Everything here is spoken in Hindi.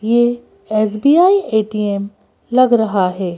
ये एस_बी_आई ए_टी_एम लग रहा है।